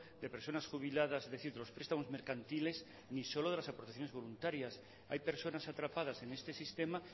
de personas jubiladas de ciertos prestamos mercantiles ni solo de las aportaciones voluntarias hay personas atrapadas en este sistema